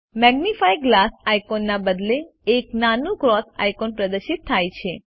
magnifying glass આઇકોનના બદલે એક નાનું ક્રોસ આઇકોન પ્રદર્શિત થાય છે